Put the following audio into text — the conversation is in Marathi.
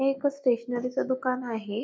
हे एक स्टेशनरीच दुकान आहे.